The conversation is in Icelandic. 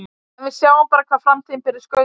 En við sjáum bara hvað framtíðin ber í skauti sér.